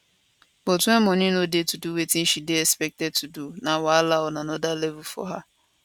but wen money no dey to do wetin she dey expected to do dat na wahala on anoda level for her